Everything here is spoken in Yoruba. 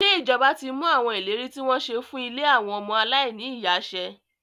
Ṣé ìjọba ti mú àwọn ìlérí tí wọ́n ṣe fún ilé àwọn ọmọ aláìní ìyá ṣẹ?